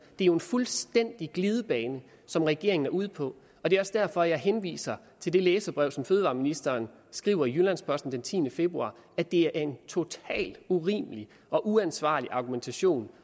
er jo en fuldstændig glidebane som regeringen er ude på og det er også derfor jeg henviser til det læserbrev som fødevareministeren skriver i jyllands posten den tiende februar at det er en totalt urimelig og uansvarlig argumentation